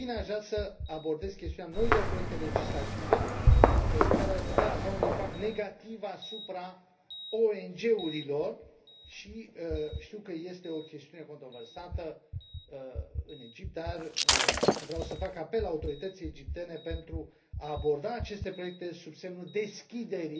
În fine, aș vrea să abordez chestiunea noilor proiecte legislative care ar putea avea un impact negativ asupra ONG urilor, știu că este o chestiune controversată în Egipt, dar vreau să fac apel la autoritățile egiptene pentru a aborda aceste proiecte sub semnul deschiderii